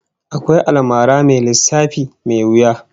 Akwai almara mai lissafi mai wuya